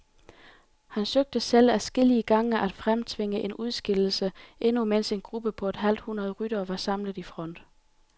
Han søgte selv adskillige gange at fremtvinge en udskillelse, endnu mens en gruppe på et halvt hundrede ryttere var samlet i front.